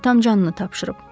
Atam canını tapşırıb.